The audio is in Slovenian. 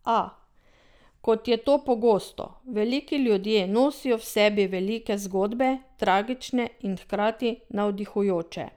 A, kot je to pogosto, veliki ljudje nosijo v sebi velike zgodbe, tragične in hkrati navdihujoče.